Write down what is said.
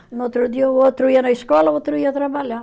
No outro dia, o outro ia na escola e o outro ia trabalhar.